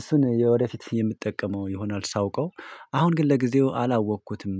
እሱን ወደፊት የምትጠቀመው ይሆናል ሳውቀው አሁን ግን ለጊዜው አላወቅኩትም።